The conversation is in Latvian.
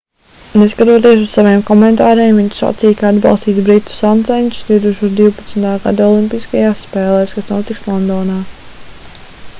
neskatoties uz saviem komentāriem viņš sacīja ka atbalstīs britu sāncenšus 2012. gada olimpiskajās spēlēs kas notiks londonā